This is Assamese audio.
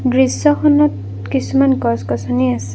দৃশ্যখনত কিছুমান গছ গছনি আছে।